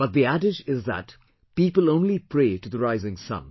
But the adage is that people only pray to the rising sun